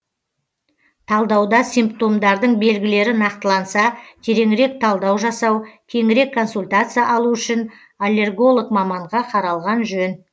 талдауда симптомдардың белгілері нақтыланса тереңірек талдау жасау кеңірек консультация алу үшін аллерголог маманға қаралған жөн